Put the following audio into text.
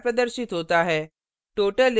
output इस प्रकार प्रदर्शित होता है